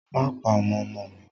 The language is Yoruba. Má pa ọmọ ọmọ mi!